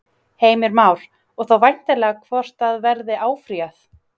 Heimir Már: Og þá væntanlega hvort að verði áfrýjað?